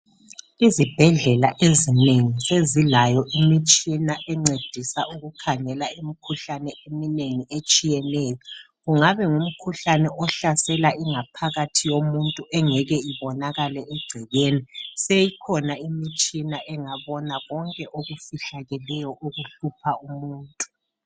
Izibhedlela ezinengi sezilayo imitshina encedisa ukukhangela imikhuhlane eminengi etshiyeneyo, kungaba ngumkhuhlane ohlasela ingaphakathi yomuntu engeke ibonakale egcekeni. Seyikhona imitshina engabona konke okufihlakeleyo okuhlupha umuntu.